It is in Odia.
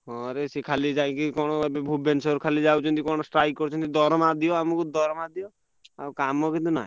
ହଁ ରେ ସେ ଖାଲି କଣ ଭୁବନେଶ୍ବର ଖାଲିଯାଉଛନ୍ତି କଣ ଖାଲି strike କରୁଛନ୍ତି ଦରମା ଦିଅ ଆମକୁ ଦରମା ଦିଅ ଆଉ କାମ କିନ୍ତୁ ନାହିଁ।